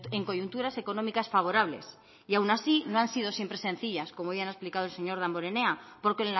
en coyunturas económicas favorables y aun así no han sido siempre sencillas como ya ha explicado el señor damborenea porque